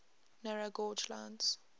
narrow gauge lines